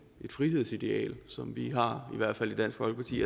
frihedsideal som vi har i hvert fald i dansk folkeparti